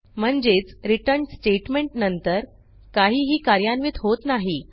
म्हणजेच रिटर्न स्टेटमेंटनंतर काहीही कार्यान्वित होत नाही